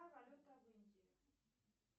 какая валюта в индии